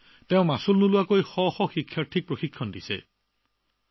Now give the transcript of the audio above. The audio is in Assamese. লগতে হাজাৰ হাজাৰ ছাত্ৰছাত্ৰীক কোনো মাননি নোপোৱাকৈ প্ৰশিক্ষণ দিছিল